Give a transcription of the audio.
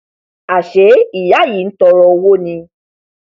àṣé ìyá yìí ntọọrọ owó ni